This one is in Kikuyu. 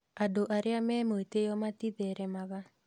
Andũ arĩa me mwĩtĩo matitheremaga